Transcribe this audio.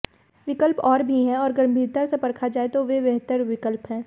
विकल्प और भी हैं और गंभीरता से परखा जाये तो वे बेहतर विकल्प हैं